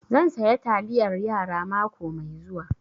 Zan saya taliyar yara mako mai zuwa